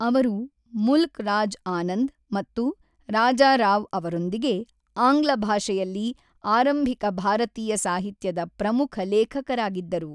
ಅವರು ಮುಲ್ಕ್ ರಾಜ್ ಆನಂದ್ ಮತ್ತು ರಾಜಾರಾವ್ ಅವರೊಂದಿಗೆ ಆಂಗ್ಲ ಭಾಷೆಯಲ್ಲಿ ಆರಂಭಿಕ ಭಾರತೀಯ ಸಾಹಿತ್ಯದ ಪ್ರಮುಖ ಲೇಖಕರಾಗಿದ್ದರು.